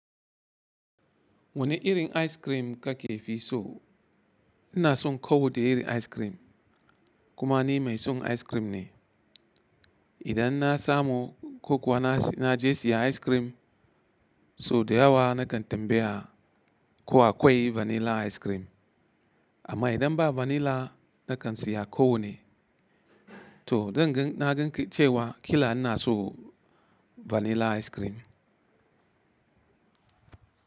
Wani irin ice cream kake fi so? Ina son ko wadda irin ice cream. Kuma ni mai son ice cream ne. Idan na samu ko kuwa na je siya ice cream, so da yawa na kan tambaya ko akwai vanilla ice cream. Amma idan ba vanilla, na kan siya ko wanne. To zan gan na gan cewa kila ina so vanilla ice cream.